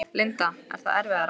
Linda: Er það erfiðara?